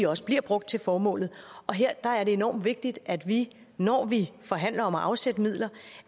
også bliver brugt til formålet og her er det enormt vigtigt at vi når vi forhandler om at afsætte midler